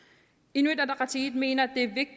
inuit ataqatigiit mener at